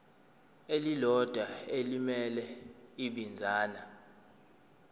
elilodwa elimele ibinzana